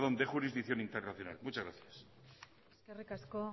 de jurisdicción internacional muchas gracias eskerrik asko